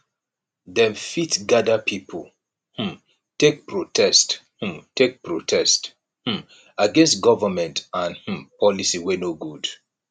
dem fit gather pipo um take protest um take protest um against government and um policy wey no good